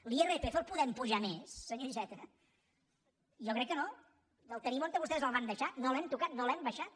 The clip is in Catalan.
l’irpf el podem apujar més senyor iceta jo crec que no el tenim on vostès el van deixar no l’hem tocat no l’hem abaixat